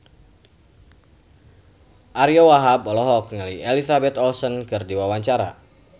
Ariyo Wahab olohok ningali Elizabeth Olsen keur diwawancara